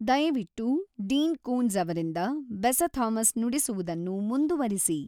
ದಯವಿಟ್ಟು Dean Koontz ಅವರಿಂದ ಬೇಸಾ ಥಾಮಸ್ ನುಡಿಸುವುದನ್ನು ಮುಂದುವರಿಸಿ